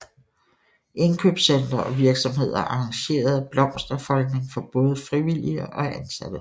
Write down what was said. Indkøbscentre og virksomheder arrangerede blomsterfoldning for både frivillige og ansatte